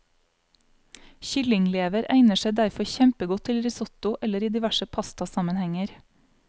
Kyllinglever egner seg derfor kjempegodt til risotto eller i diverse pastasammenhenger.